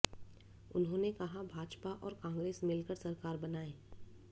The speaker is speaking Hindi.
उन्होंने कहा भाजपा और कांग्रेस मिल कर सरकार बनाएं